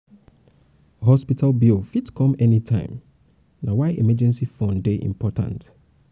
hospital bill fit come fit come anytime na why emergency fund dey important.